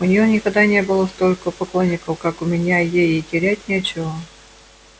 у неё никогда не было столько поклонников как у меня ей и терять нечего